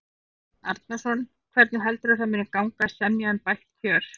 Sveinn Arnarson: Hvernig heldurðu að það muni gangi að semja um bætt kjör?